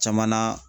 Caman na